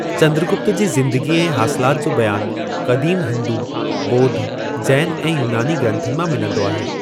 चंद्रगुप्त जी ज़िंदगीअ ऐं हासिलाति जो बयानु क़दीम हिंदू, ॿोध, जैन ऐं यूनानी ग्रंथनि मां मिलंदो आहे।